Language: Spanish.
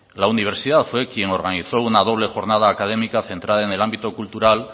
la universidad fue quien organizó una doble jornada académica centrada en el ámbito cultural